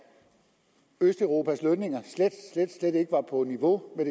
østeuropas lønninger slet slet ikke var på niveau med